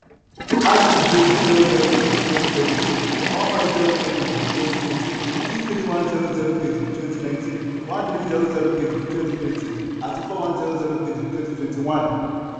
arik gbé two zero zero zero kg ní twenty seventeen one five zero nine kg ní twenty eighteen two three one zero zero kg ní twenty nineteen one three zero zero kg ní twenty twenty àti four one zero zero kg ní twenty twenty one.